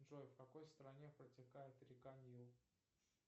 джой в какой стране протекает река нил